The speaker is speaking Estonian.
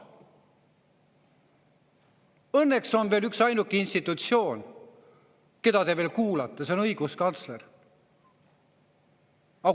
Õnneks on üksainuke institutsioon, keda te veel kuulate – see on õiguskantsler.